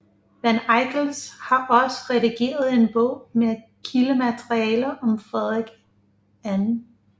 Van Eickels har også redigeret en bog med kildemateriale om Frederik 2